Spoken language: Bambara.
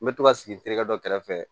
N bɛ to ka sigi n terikɛ dɔ kɛrɛfɛ